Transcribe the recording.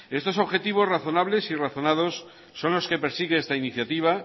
estos objetivos razonables y razonados son los que persigue esta iniciativa